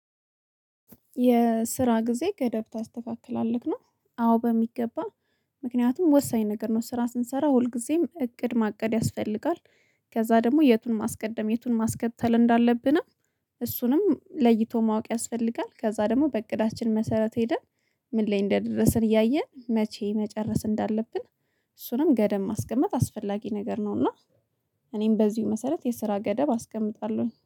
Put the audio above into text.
የስራ ጊዜ ገደብ ታስተካክላለህ ነው? አዎ በሚገባ ምክንያቱም ወሳኝ ነገር ነው ስራ ስንሰራ ሁልጊዜም እቅድ ማቀድ ያስፈልጋል። ከዛ ደግሞ የቱን ማስቀደም የቱን ማስከተል እንዳለብንም እሱንም ለይቶ ማወቅ ያስፈልጋል። ከዛ ደግሞ በእቅዳችን መሰረት ሄደን ምን ላይ እንደደረሰን እያየን መቼ መጨረስ እንዳለብን። እሱንም ገደብ ማስቀመጥ አስፈላጊ ነገር ነው። እና እኔም በዚሁ መሰረት የስራ ገደብ አስቀምጣለሁኝ